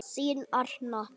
Þín Arna.